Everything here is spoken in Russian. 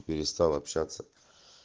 перестал общаться